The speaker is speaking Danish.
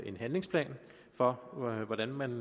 en handlingsplan for hvordan man